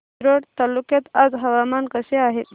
रिसोड तालुक्यात आज हवामान कसे आहे